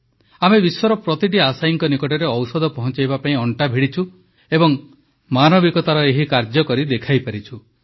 ଆମେ ବିଶ୍ୱର ପ୍ରତିଟି ଆଶାୟୀଙ୍କ ନିକଟରେ ଔଷଧ ପହଂଚାଇବା ପାଇଁ ଅଣ୍ଟା ଭିଡ଼ିଛୁ ଏବଂ ମାନବିକତାର ଏହି କାର୍ଯ୍ୟ କରି ଦେଖାଇପାରିଛୁ